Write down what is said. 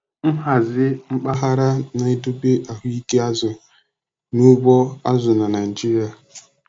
Nhazi mpaghara na-edobe ahụike azụ n'ugbo azụ na Naijiria.